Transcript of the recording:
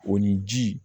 O ni ji